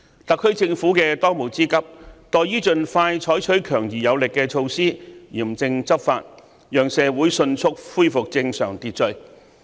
特區政府的當務之急，在於盡快採取強而有力的措施，嚴正執法，讓社會迅速恢復正常秩序。